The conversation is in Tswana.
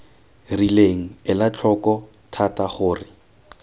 rileng ela tlhoko thata gore